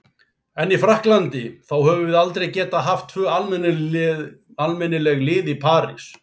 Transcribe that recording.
En í Frakklandi, þá höfum við aldrei getað haft tvö almennileg lið í París.